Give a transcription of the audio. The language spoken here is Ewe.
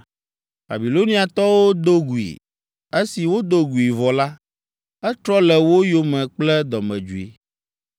Babiloniatɔwo do gui. Esi wodo gui vɔ la, etrɔ le wo yome kple dɔmedzoe.